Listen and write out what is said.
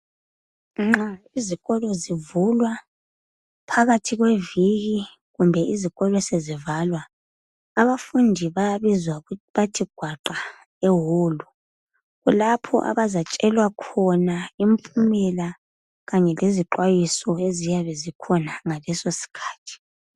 Nxa izikolo zivulwa phakathi kweviki loba sebevala abafundi bayabizwa bethi gwaqa lapho izifundi ezizatshelwa khona ngezixwayiso ezinzekala nxa sekufundwa phakathi.